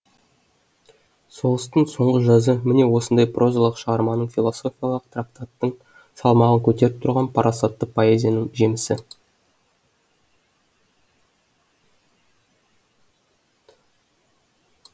соғыстың соңғы жазы міне осындай прозалық шығарманың философиялық трактаттың салмағын көтеріп тұрған парасатты поэзияның жемісі